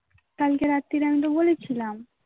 কালকে রাত্রিরে আমি তো বলেছিলাম